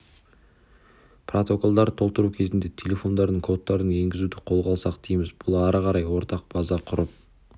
протоколдарды толтыру кезінде телефондардың кодтарын енгізуді қолға алсақ дейміз бұл ары қарай ортақ база құрып